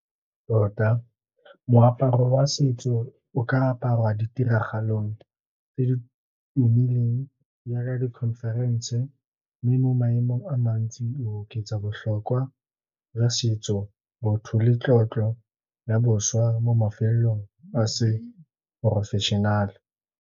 Tota moaparo wa setso o ka aparwa ditiragalong tse di tumileng jaaka di-conference, tse di mo maemong a mantsi. O oketsa botlhokwa jwa setso, botho le tlotlo ya bošwa mo mafelong a seporofešenale.